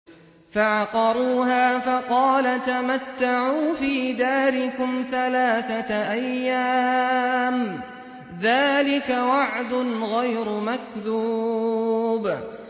فَعَقَرُوهَا فَقَالَ تَمَتَّعُوا فِي دَارِكُمْ ثَلَاثَةَ أَيَّامٍ ۖ ذَٰلِكَ وَعْدٌ غَيْرُ مَكْذُوبٍ